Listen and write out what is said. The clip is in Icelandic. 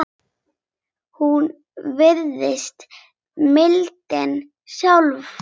Hún virðist mildin sjálf.